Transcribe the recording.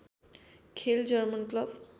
खेल German club